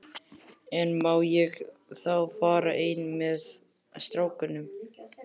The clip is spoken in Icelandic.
En má ég þá fara einn með strákunum?